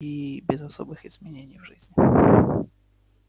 и без особых изменений в жизни